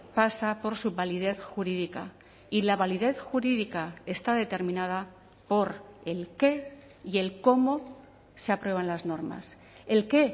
pasa por su validez jurídica y la validez jurídica está determinada por el qué y el cómo se aprueban las normas el qué